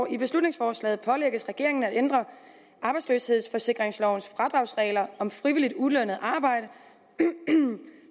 i beslutningsforslaget pålægges regeringen at ændre arbejdsløshedsforsikringslovens fradragsregler om frivilligt ulønnet arbejde